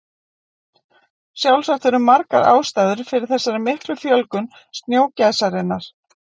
Sjálfsagt eru margar ástæður fyrir þessari miklu fjölgun snjógæsarinnar.